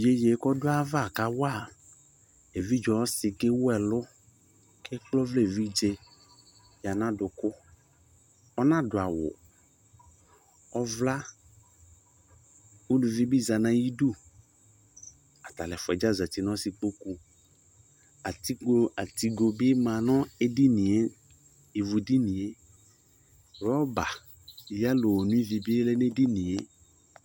Yeyee kɔdʋayava kawa evidze ɔsɩ kewu ɛlʋ kekple ɔvlaevidze yǝ n'adʋkʋ, ɔnadʋawʋ Ɔvla uluvi bɩ za n'ayidu, atalʋɛfʋaɛdza zati n'ɔsɩkpoku Atikpo atigo bɩ ma nʋ edinie ivudinie, rɔba yelo onoivi bɩ lɛ n'edinie